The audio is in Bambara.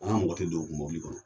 Anw ka mɔgɔ tɛ don o mɔbili kɔnɔ.